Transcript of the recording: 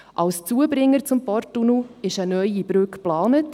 Als Zubringer zum Porttunnel ist eine neue Brücke geplant.